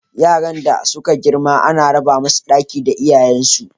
Yaran da suka girma ana raba musu ɗaki da iyayen su.